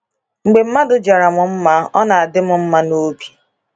Mgbe mmadụ jara m mma, ọ na-adị m mma n’obi.